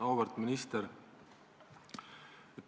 Auväärt minister!